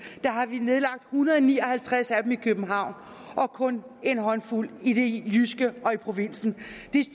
hundrede og ni og halvtreds af dem i københavn og kun en håndfuld i det jyske i provinsen